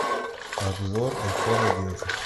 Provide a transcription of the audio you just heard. обзор айфон одиннадцать